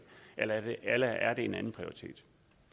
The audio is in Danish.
eller er det en andenprioritet